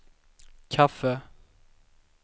kaffe